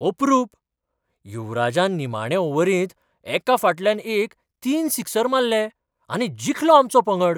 अपरूप! युवराजान निमाणे ओव्हरींत एका फाटल्यान एक तीन सिक्सर मारले आनी जिखलो आमचो पंगड.